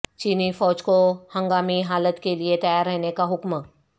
چینی فوج کو ہنگامی حالت کیلئے تیار رہنے کا حکم